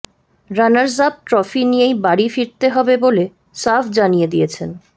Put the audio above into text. runners up trophy নিয়েই বাড়ি ফিরতে হবে বলে সাফ জানিয়ে দিয়েছেন